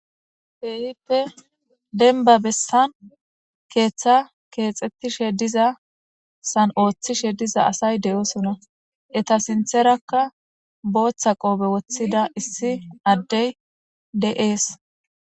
Keehippe denba bessan keeththa keexxettishe diza san ooththishe diza asay de7oosona eta sintherakka booththa qoobe woththida issi addey de7ees